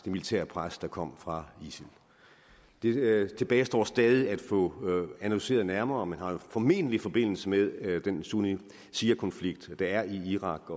militære pres der kom fra isil det tilbagestår stadig at få analyseret nærmere men det har jo formentlig forbindelse med den sunni shia konflikt der er i irak